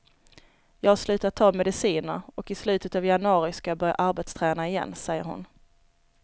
Jag har slutat ta mediciner och i slutet av januari ska jag börja arbetsträna igen, säger hon.